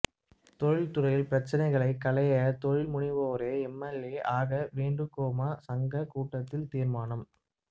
தொழில் துறை பிரச்னைகளைக் களைய தொழில்முனைவோரே எம்எல்ஏ ஆக வேண்டும்கோப்மா சங்க கூட்டத்தில் தீா்மானம்